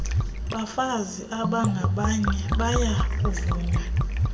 bafazi bangabanye bayakuvunywa